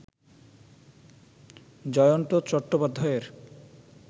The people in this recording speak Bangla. জয়ন্ত চট্টোপাধ্যায়ের